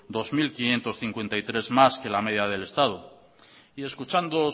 dos mil quinientos cincuenta y tres más que la media del estado y escuchando